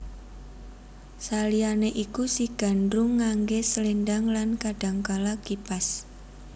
Saliyane iku si Gandrung ngangge slendhang lan kadangkala kipas